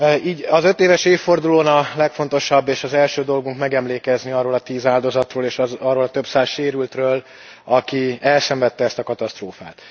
Így az ötéves évfordulón a legfontosabb és az első dolgunk megemlékezni arról a tíz áldozatról, és arról a több száz sérültről, aki elszenvedte ezt a katasztrófát.